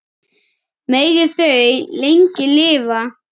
Megi þau lengi lifa.